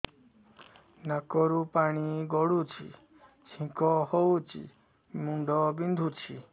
ନାକରୁ ପାଣି ଗଡୁଛି ଛିଙ୍କ ହଉଚି ମୁଣ୍ଡ ବିନ୍ଧୁଛି